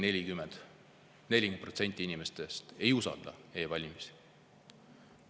40% protsenti inimestest ei usalda e-valimisi.